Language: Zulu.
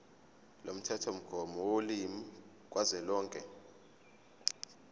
lomthethomgomo wolimi kazwelonke